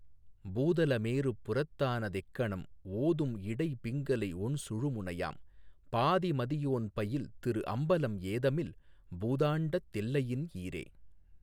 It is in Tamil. பூதல மேருப் புறத்தான தெக்கணம் ஓதும் இடைபிங்கலை ஒண்சுழுனையாம் பாதி மதியோன் பயில் திரு அம்பலம் ஏதமில் பூதாண்டத் தெல்லையின் ஈறே.